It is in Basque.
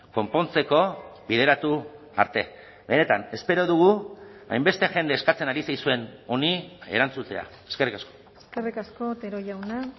konpontzeko bideratu arte benetan espero dugu hainbeste jende eskatzen ari zaizuen honi erantzutea eskerrik asko eskerrik asko otero jauna